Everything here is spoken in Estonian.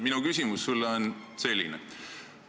Minu küsimus sulle on selline.